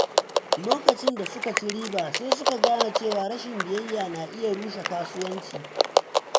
Lokacin da suka ci riba, sai suka gane cewa rashin biyayya na iya rushe kasuwanci.